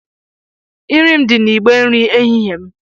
Nri m dị n’igbe nri ehihie m